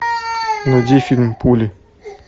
найди фильм пули